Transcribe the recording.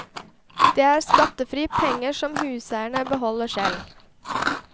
Det er skattefrie penger som huseieren beholder selv.